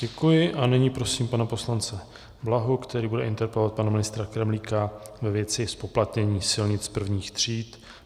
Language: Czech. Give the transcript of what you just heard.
Děkuji a nyní prosím pana poslance Blahu, který bude interpelovat pana ministra Kremlíka ve věci zpoplatnění silnic prvních tříd.